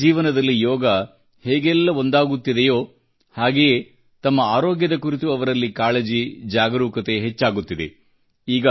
ಜನರ ಜೀವನದಲ್ಲಿ ಯೋಗವು ಹೇಗೆಲ್ಲ ಒಂದಾಗುತ್ತಿದೆಯೋ ಹಾಗೆಯೇ ತಮ್ಮ ಆರೋಗ್ಯದ ಕುರಿತು ಅವರಲ್ಲಿ ಕಾಳಜಿ ಜಾಗರೂಕತೆ ಹೆಚ್ಚಾಗುತ್ತಿದೆ